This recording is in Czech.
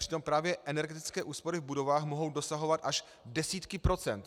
Přitom právě energetické úspory v budovách mohou dosahovat až desítky procent.